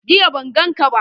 Jiya ban gan ka ba